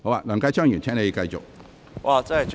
梁繼昌議員，請繼續發言。